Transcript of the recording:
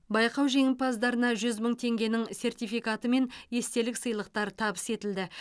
байқау жеңімпаздарына жүз мың теңгенің сертификаты мен естелік сыйлықтар табыс етілді